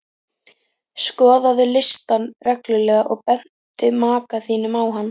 Skoðaðu listann reglulega og bentu maka þínum á hann.